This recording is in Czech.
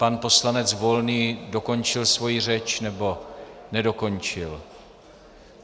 Pan poslanec Volný dokončil svoji řeč, nebo nedokončil?